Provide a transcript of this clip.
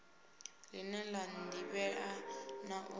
line la divhea na u